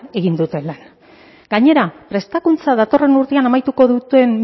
egin dute lan gainera prestakuntza datorren urtean amaituko duten